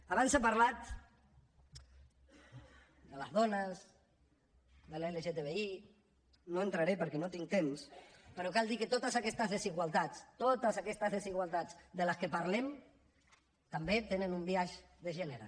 abans s’ha parlat de les dones de l’lgtbi no hi entraré perquè no tinc temps però cal dir que totes aquestes desigualtats totes aquestes desigualtats de les que parlem també tenen un biaix de gènere